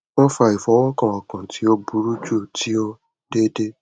wọn fa ifọwọkan ọkan ti o buru ju ti o deede